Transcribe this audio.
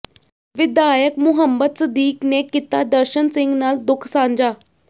ਵਿਧਾਇਕ ਮੁਹੰਮਦ ਸਦੀਕ ਨੇ ਕੀਤਾ ਦਰਸ਼ਨ ਸਿੰਘ ਨਾਲ ਦੁੱਖ ਸਾਂਝਾ